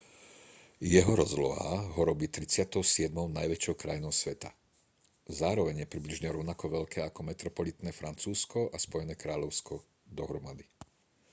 jeho rozloha ho robí 37. najväčšou krajinou sveta zároveň je približne rovnako veľké ako metropolitné francúzsko a spojené kráľovstvo dohromady